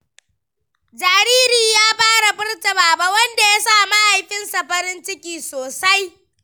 Jaririn ya fara furta "Baba," wanda ya sa mahaifinsa farin ciki sosai.